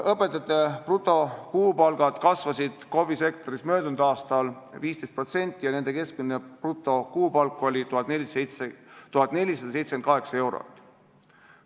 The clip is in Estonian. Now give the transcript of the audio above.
Õpetajate brutokuupalgad kasvasid KOV-i sektoris möödunud aastal 15% ja nende keskmine brutokuupalk oli 1478 eurot.